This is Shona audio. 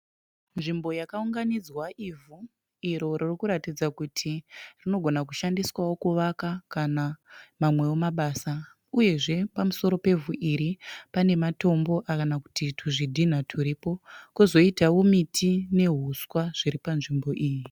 Nzvimbo yakaunganidzwa ivhu, iro ririkuratidza kuti rinogona kushandiswawo kuvaka kana mamwewo mabasa. Uyezve pamuromo pevhu iri pane matombo kana kuti tuzvidhina turipo. Kozoita miti nehuswa zviripanzvimbo iyi.